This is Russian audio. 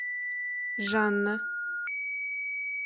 жанна